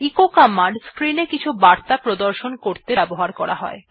এই কমান্ডটি স্ক্রিন এ কিছু বার্তা প্রদর্শন করতে ব্যবহার করা হয়